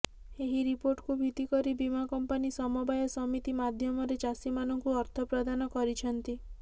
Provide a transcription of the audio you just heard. ଏହି ରିପୋର୍ଟକୁ ଭିତ୍ତି କରି ବୀମା କମ୍ପାନୀ ସମବାୟ ସମିତି ମାଧ୍ୟମରେ ଚାଷୀମାନଙ୍କୁ ଅର୍ଥ ପ୍ରଦାନ କରିଛନ୍ତି